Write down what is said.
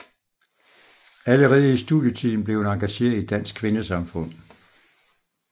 Allerede i studietiden blev hun engageret i Dansk Kvindesamfund